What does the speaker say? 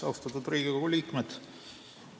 Austatud Riigikogu liikmed!